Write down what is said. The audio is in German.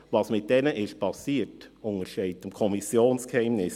Was mit diesen geschehen ist, untersteht dem Kommissionsgeheimnis.